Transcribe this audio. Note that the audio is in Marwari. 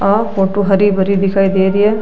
आ फोटो हरी भरी दिखाई दे रही है।